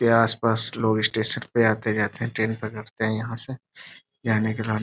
यह आस पास लोग स्टेशन पर आते जाते ट्रेन पकड़ते हैं यहाँ से --